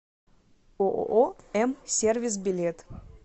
ооо м сервис билет